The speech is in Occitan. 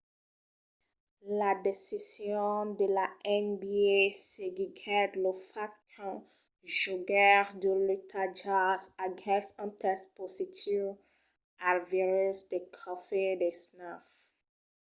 la decision de la nba seguiguèt lo fach qu'un jogaire de l'utah jazz aguèsse un test positiu al virus de covid-19